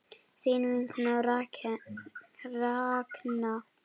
Þín vinkona Ragna.